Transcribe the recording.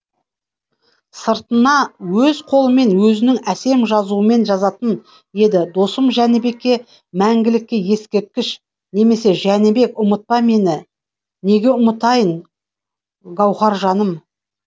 сыртына өз қолымен өзінің әсем жазуымен жазатын еді досым жәнібекке мәңгілікке ескерткіш немесе жәнібек ұмытпа мені неге ұмытайын гауһаржаным